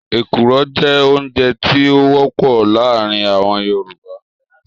Èkuru jẹ́ oúnjẹ tí ó wọ́pọ̀ láàárín àwọn Yorùbá